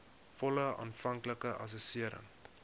volle aanvanklike assessering